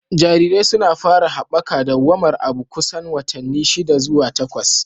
Jarirai sun fara haɓaka dawwamar abu kusan watanni shida zuwa takwas.